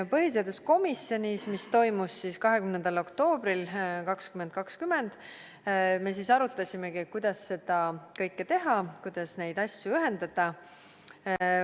Põhiseaduskomisjoni istungil, mis toimus 20. oktoobril 2020, me arutasimegi, kuidas seda kõike teha, kuidas neid asju ühendada.